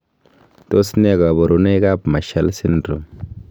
Tos nee koburoikab Marshall syndrome?